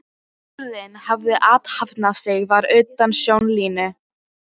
urinn hafði athafnað sig var utan sjónlínu.